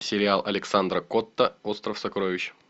сериал александра котта остров сокровищ